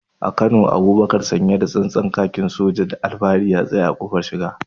A Kano, Abubakar sanye da tsantsan kakin soja, cikin alfahari ya tsaya a kofar shiga.